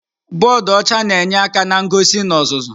Bọdụ ọcha na-enyere aka na ngosi na ọzụzụ.